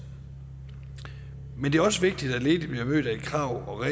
men det er også vigtigt at ledige bliver mødt af krav og